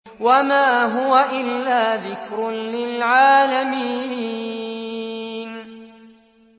وَمَا هُوَ إِلَّا ذِكْرٌ لِّلْعَالَمِينَ